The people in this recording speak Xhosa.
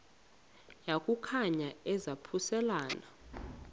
yaku khankanya izaphuselana